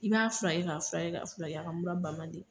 I b'a furakɛ ka furakɛ ka furakɛ a mura ban man di.